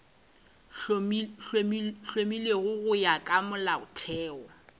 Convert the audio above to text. hlomilwego go ya ka molaotheo